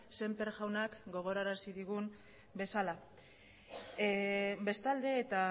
sémper jaunak gogorarazi digun bezala bestalde eta